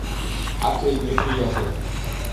отель мероприятия